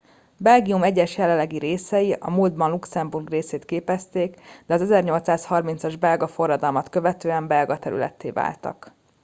belgium egyes jelenlegi részei a múltban luxemburg részét képezték de az 1830 as belga forradalmat követően belga területté váltak